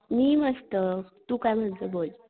मी मस्त, तू काय म्हणतो बोल?